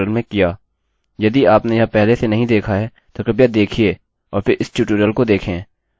यदि आपने यह पहले से नहीं देखा है तो कृपया देखिए और फिर इस ट्यूटोरियल को देखें आप इन सभी कोड़्स के बारे में जानने में सक्षम होंगे